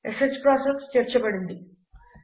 ష్ ప్రాసెస్ చేర్చబడింది